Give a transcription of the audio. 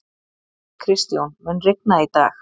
Kristjón, mun rigna í dag?